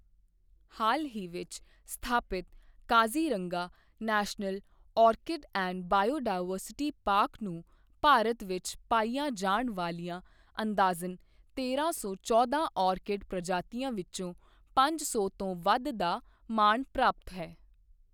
ਹਾਲ ਹੀ ਵਿੱਚ ਸਥਾਪਿਤ Kaziranga national orchid and biodiversity park ਨੂੰ ਭਾਰਤ ਵਿੱਚ ਪਾਈਆਂ ਜਾਣ ਵਾਲੀਆਂ ਅੰਦਾਜ਼ਨ ਤੇਰਾਂ ਸੌ ਚੌਦਾਂ ਆਰਕਿਡ ਪ੍ਰਜਾਤੀਆਂ ਵਿੱਚੋਂ ਪੰਜ ਸੌ ਤੋਂ ਵੱਧ ਦਾ ਮਾਣ ਪ੍ਰਾਪਤ ਹੈ।